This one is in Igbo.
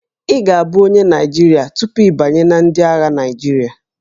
Ị ga-abụ onye Naịjirịa tupu ị banye na ndị agha Naịjirịa